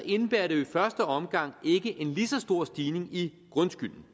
indebærer det jo i første omgang ikke en lige så stor stigning i grundskylden